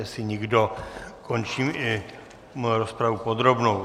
Jestli nikdo, končím i rozpravu podrobnou.